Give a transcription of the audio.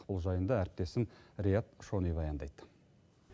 бұл жайында әріптесім риат шони баяндайды